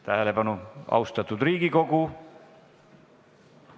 Tähelepanu, austatud Riigikogu!